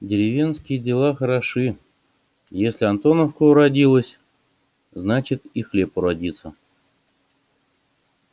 деревенские дела хороши если антоновка уродилась значит и хлеб уродился